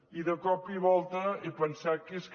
i de cop i volta he pensat que és que